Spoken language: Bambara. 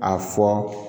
A fɔ